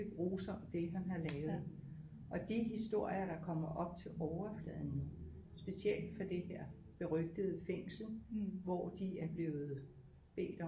Grusomt det han har lavet og de historier der kommer op til overfladen specielt fra det her berygtede fængsel hvor de er blevet bedt om